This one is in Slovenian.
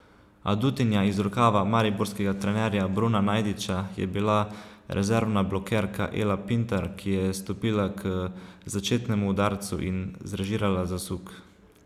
Adutinja iz rokava mariborskega trenerja Bruna Najdiča je bila rezervna blokerka Ela Pintar, ki je stopila k začetnemu udarcu in zrežirala zasuk.